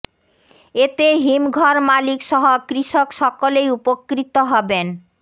এতে হিমঘর মালিক সহ কৃষক সকলেই উপকৃত হবেন